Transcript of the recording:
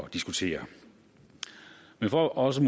at diskutere men for også